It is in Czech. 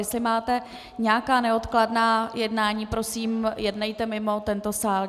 Jestli máte nějaká neodkladná jednání, prosím, jednejte mimo tento sál.